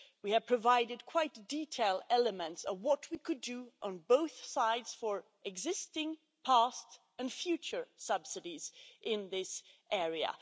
We have provided quite detailed elements of what we could do on both sides for existing, past and future subsidies in this area.